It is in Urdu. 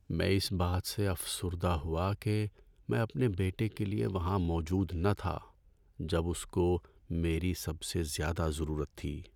میں اس بات سے افسردہ ہوا کہ میں اپنے بیٹے کے لیے وہاں موجود نہ تھا جب اس کو میری سب سے زیادہ ضرورت تھی۔